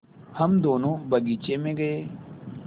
हम दोनो बगीचे मे गये